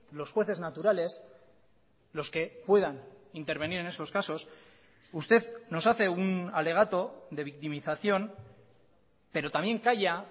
los jueces naturales los que puedan intervenir en esos casos usted nos hace un alegato de victimización pero también calla